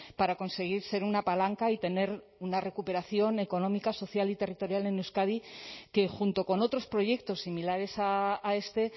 para conseguir ser una palanca y tener una recuperación económica social y territorial en euskadi que junto con otros proyectos similares a este